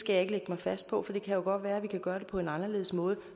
lægge mig fast på for det kan jo godt være at vi kan gøre det på en anderledes måde